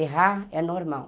Errar é normal.